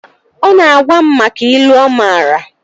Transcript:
Ọ na-agwa m maka ilu ọ maara